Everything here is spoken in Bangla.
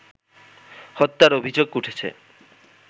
হত্যার অভিযোগ উঠেছে